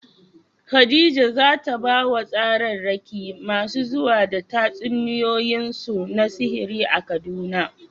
Khadija za ta ba wa tsararraki masu zuwa da tatsuniyoyinsu na sihiri a Kaduna.